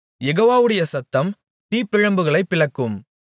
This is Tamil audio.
யெகோவாவுடைய சத்தம் தீப்பிழம்புகளைப் பிளக்கும்